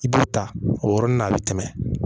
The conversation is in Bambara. I b'u ta o yɔrɔnin na a bɛ tɛmɛ